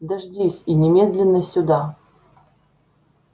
дождись и немедленно сюда